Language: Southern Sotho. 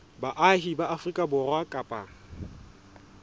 baahi ba afrika borwa kapa